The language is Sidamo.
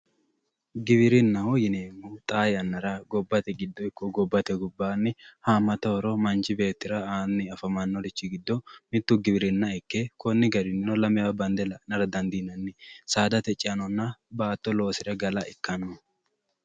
Giwirinnaho yineemmohu xaa yannara gobbate giddo ikko gobbate gobbanni hamatta horo manchi beettira aani afamanorichi giddo mitu giwirinna ikke koni garininno lamewa bande la"a dandiinanni saadate ceanonna baatto loosire galla ikkano.